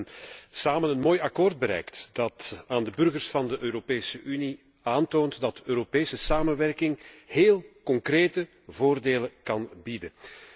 Wij hebben samen een mooi akkoord bereikt dat aan de burgers van de Europese Unie toont dat Europese samenwerking heel concrete voordelen kan bieden.